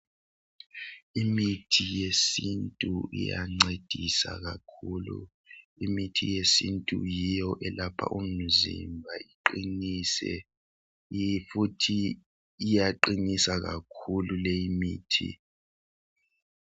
Imithi yesintu iyancedisa kakhulu imithi yesintu yiyo elapha umzimba iqinise futhi iyaqinisa kakhulu leyi mithi.